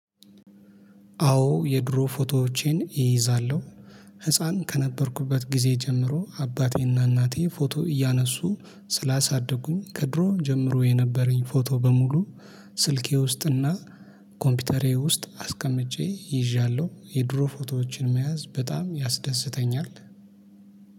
አዎ የድሮ ፎቶዎቼን እይዛለሁ። ህፃን ከነበርኩበት ጊዜ ጀምሮ አባቴና እናቴ ፎቶ እያነሱ ስላሳደጉኝ ከድሮም ጀምሮ የነበረኝ ፎቶ በሙሉ። ስልኬ ውስጥ እና ኮምፒውተሬ ውስጥ አስቀምጬ ይዣለሁ። የድሮ ፎቶዎችን መያዝ በጣም ያስደስተኛል